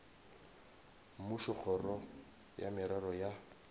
mmušo kgoro ya merero ya